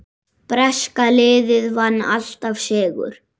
Breska liðið vann alltaf sigur.